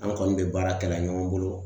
An kɔni be baara kɛla ɲɔgɔn bolo